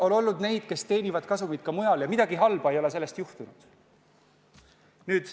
On olnud neid, kes teenivad kasumit ka mujal ja midagi halba ei ole sellest juhtunud.